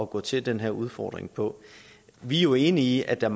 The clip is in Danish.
gå til denne udfordring på vi er jo enige i at der